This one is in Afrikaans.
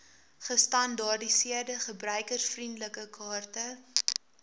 gestandaardiseerde gebruikervriendelike kaarte